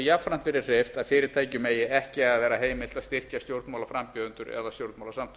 jafnframt verið hreyft að fyrirtækjum eigi ekki að vera heimilt að styrkja stjórnmálaframbjóðendur eða stjórnmálasamtök